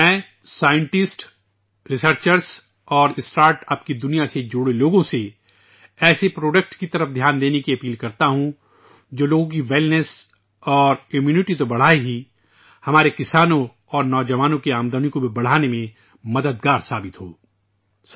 میں سائنسدانوں ، محققین اور اسٹارٹ اپ کی دنیا سے وابستہ لوگوں سے اپیل کرتا ہوں کہ وہ ایسی مصنوعات پر توجہ دیں ، جو نہ صرف لوگوں کی تندرستی اور قوت مدافعت میں اضافہ کرتی ہیں بلکہ ہمارے کسانوں اور نوجوانوں کی آمدنی بڑھانے میں بھی مددگار ثابت ہوی ہیں